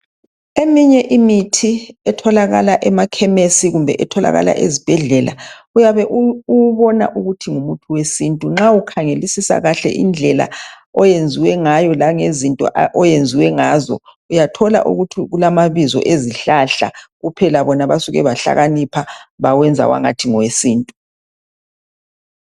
Eminye imithi etholakala emakhemesi kumbe ezibhedlela, uyabe uwubona ukuthi ngumuthi wesintu nxa ukhangelisisa kahle indlela oyenziwe ngayo lenge zinto owenziwe ngazo uyathola ukuthi kulamabizo ezihlahla kuphela bona basuke bahlakanipha bawenza wangathi ngowesintu.